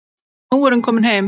Nú er hún komin heim.